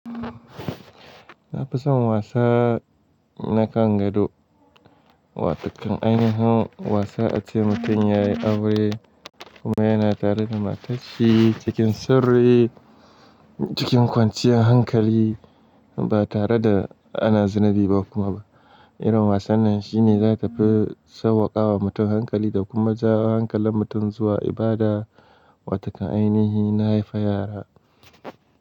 Na fi son wasa na kan gado, wato kan ainihin wasa ace mutum yayi aure kuma yana tare da matanshi cikin sirri, cikin kwanciyar hankali ba tare da ana zinibi ba kuma. Irin wasan nan shi ne zakafi sauwakawa mutum hankali da kuma ja hankalin mutum zuwa ibada, wato kan ainihi na haifa yara.